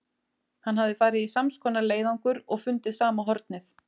Hann hafði farið í sams konar leiðangur og fundið sama hornið.